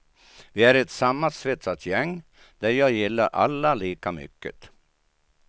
Vi är ett sammansvetsat gäng där jag gillar alla lika mycket.